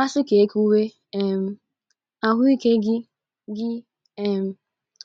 Asi ka ekwuwe, um ahụ ike gị gị um